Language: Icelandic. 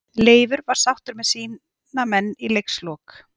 Leifur var sáttur með sína menn í leikslok.